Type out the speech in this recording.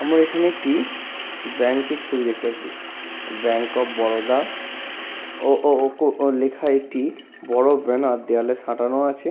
আমরা এখানে একটি ব্যাঙ্ক এর ছবি দেখতে পাচ্ছি ব্যাঙ্ক অফ বরোদা ও ও ও লেখা একটি বড় ব্যানার দেওয়ালে সাঁটানো আছে।